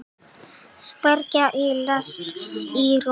Sprengja í lest í Róm